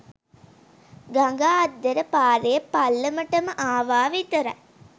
ගඟ අද්දර පාරේ පල්ලමට ආවා විතරයි